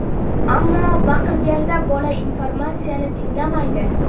Ammo baqirganda bola informatsiyani tinglamaydi.